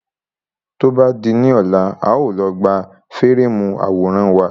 Tó bá di ní ọ̀la, a ó lọ gbà fíréèmù àwòrán wa.